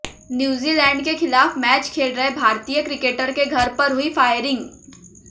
New Zealand के खिलाफ match खेल रहे भारतीय क्रिकेटर के घर पर हुई फायरिंग